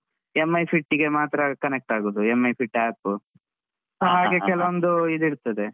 Mi fit ಗೆ ಮಾತ್ರ connect ಆಗುದು Mi fit app ಕೆಲವೊಂದು ಇದ್ ಇರ್ತದೆ.